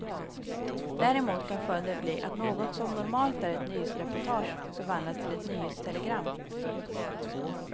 Däremot kan följden bli att något som normalt är ett nyhetsreportage, förvandlas till ett nyhetstelegram.